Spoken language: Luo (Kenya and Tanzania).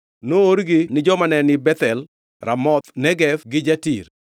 Noorgi ni joma ne ni Bethel, Ramoth Negev gi Jatir,